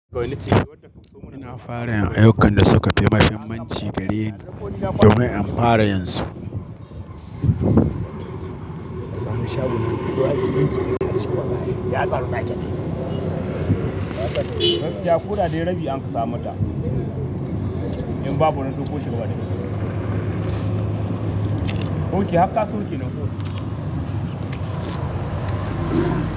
Muna fara aiyukan da suka fi mahimmanci gareni domin in fara yanzu.